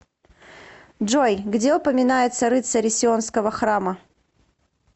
джой где упоминается рыцари сионского храма